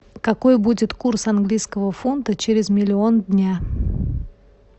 какой будет курс английского фунта через миллион дня